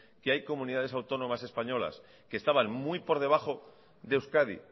que hay comunidades autónomas españolas que estaban muy por debajo de euskadi